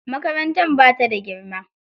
Makarantar ba ta da girma.